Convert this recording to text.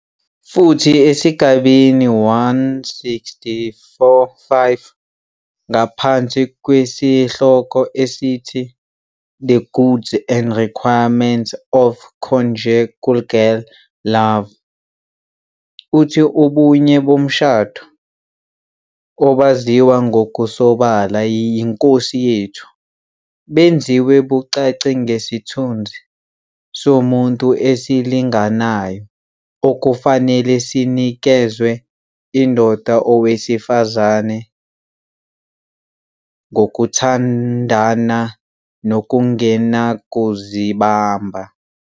Futhi esigabeni 1645 ngaphansi kwesihloko esithi "The Goods and Requirements of Conjugal Love" uthi "Ubunye bomshado, obaziwa ngokusobala yiNkosi yethu, benziwa bucace ngesithunzi somuntu esilinganayo okufanele sinikezwe indoda nowesifazane ngokuthandana nokungenakuzibamba.